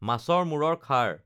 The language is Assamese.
মাছৰ মূৰৰ খাৰ